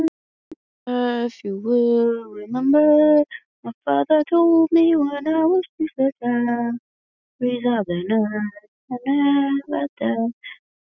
Nína safnaði letilega saman dótinu sínu.